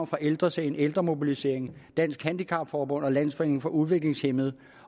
fra ældresagen ældremobiliseringen dansk handicap forbund og landsforeningen for udviklingshæmmede